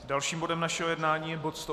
Dalším bodem našeho jednání je bod